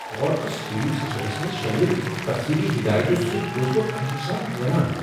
کار کس stereo systems منز شٲمل تفصیلی ہدایتو سیتۍگوس بہٕ خوشی سان حیران۔